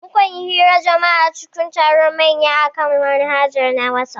Mukanyi hirar jima'a cikin taron manya akan manhaja na wasaf